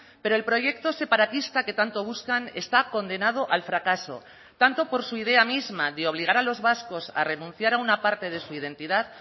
pero el proyecto separatista que tanto buscan está condenado al fracaso tanto por su idea misma de obligar a los vascos a renunciar a una parte de su identidad